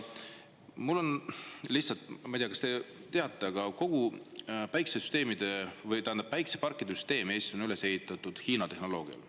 Ma ei tea, kas te teate, aga kogu päikeseparkide süsteem on Eestis üles ehitatud Hiina tehnoloogiale.